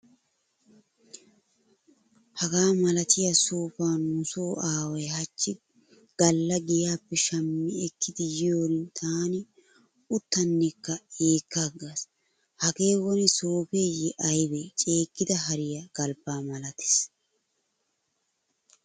Hagaa malatiya soofaa nuso aaway hachchi galla giyaappe shammi ekidi yiyoorin taani uttanekka yeekkaagaas. Hagee woni soofeyye aybe ceeggida hariyaa galbbaa malatees.